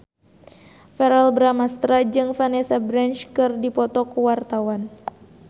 Verrell Bramastra jeung Vanessa Branch keur dipoto ku wartawan